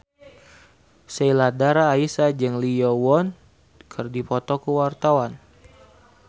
Sheila Dara Aisha jeung Lee Yo Won keur dipoto ku wartawan